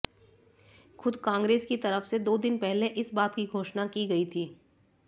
खुद कांग्रेस की तरफ से दो दिन पहले इस बात की घोषणा की गई थी